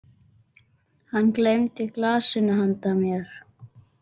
Hann gleymdi glasinu handa mér.